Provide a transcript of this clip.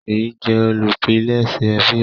Sheyi jé olùpilèsè fíìmù.